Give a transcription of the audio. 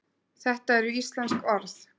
þetta eru íslensk orð